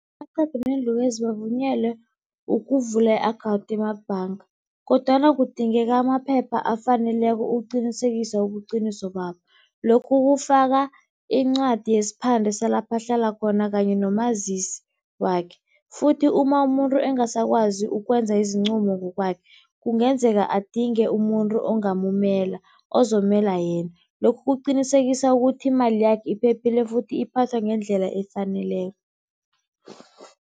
Amaqhegu neenlukazi bavunyelwe ukuvula i-akhawunthi emabhanga, kodwana kudingeka amaphepha afaneleko ukuqinisekisa ubuqiniso babo, lokhu kufaka incwadi yesiphande salapha ahlala khona kanye nomazisi wakhe. Futhi uma umuntu angasakwazi ukwenza izincumo ngokwakhe kungenzeka adinge umuntu ongamumela ozomela yena. Lokhu kuqinisekisa ukuthi imali yakhe iphephile futhi iphathwa ngendlela efaneleko.